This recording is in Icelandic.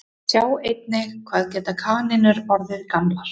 Sjá einnig Hvað geta kanínur orðið gamlar?